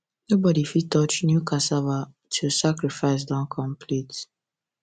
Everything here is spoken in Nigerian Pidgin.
nobody fit touch new cassava tilll sacrifice don complete